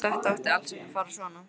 Þetta átti alls ekki að fara svona.